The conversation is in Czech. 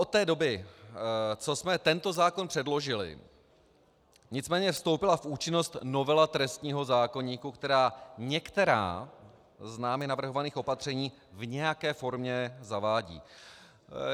Od té doby, co jsme tento zákon předložili, nicméně vstoupila v účinnost novela trestního zákoníku, která některá z námi navrhovaných opatření v nějaké formě zavádí.